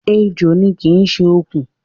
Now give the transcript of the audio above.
Ejò ni, kì í ṣe okùn